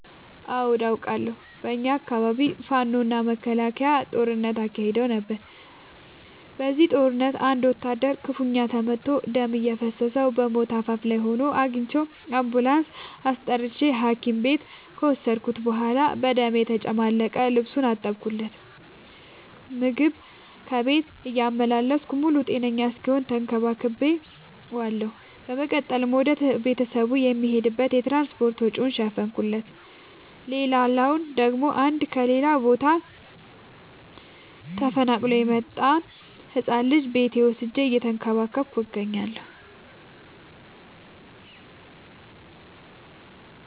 አዎድ አቃለሁ። በኛ አካባቢ ፋኖ እና መከላከያ ጦርነት አካሂደው ነበር። በዚህ ጦርነት አንድ ወታደር ክፋኛ ተመቶ ደም እየፈሰሰው በሞት አፋፍ ላይ ሆኖ አግኝቼው። አንቡላንስ አስጠርቼ ሀኪም ቤት ከወሰድከት በኋላ በደም የተጨማለቀ ልብሱን አጠብለት። ምግብ ከቤት እያመላለስኩ ሙሉ ጤነኛ እስኪሆን ተከባክ ቤዋለሁ። በመቀጠልም ወደ ቤተሰቡ የሚሄድበትን የትራንስፓርት ወጪውን ሸፈንኩለት። ሌላላው ደግሞ አንድ ከሌላ ቦታ ተፈናቅሎ የመጣን ህፃን ልጅ ቤቴ ወስጄ እየተንከባከብኩ እገኛለሁ።